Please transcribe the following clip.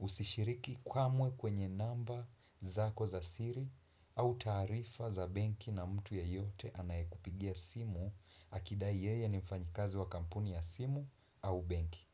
usishiriki kwamwe kwenye namba zako za siri au tarifa za benki na mtu yeyote anayekupigia simu akidai yeye ni mfanyikazi wa kampuni ya simu au benki.